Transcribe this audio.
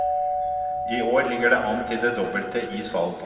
I år ligger det an til det dobbelte i salg.